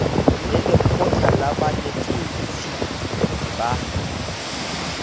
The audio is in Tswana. le lekgotlha la banetetshi ba